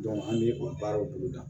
an bɛ o baaraw boloda